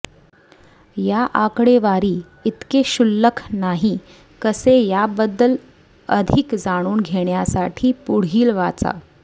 या आकडेवारी इतके क्षुल्लक नाही कसे याबद्दल अधिक जाणून घेण्यासाठी पुढील वाचा